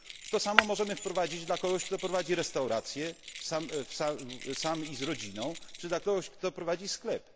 To samo możemy wprowadzić dla kogoś, kto prowadzi restaurację, sam i z rodziną, czy dla kogoś, kto prowadzi sklep.